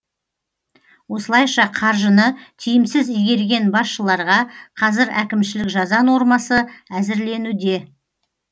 осылайша қаржыны тиімсіз игерген басшыларға қазір әкімшілік жаза нормасы әзірленуде